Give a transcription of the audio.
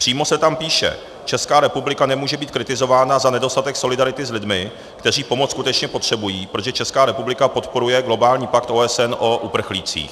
Přímo se tam píše: Česká republika nemůže být kritizována za nedostatek solidarity s lidmi, kteří pomoc skutečně potřebují, protože Česká republika podporuje globální pakt OSN o uprchlících.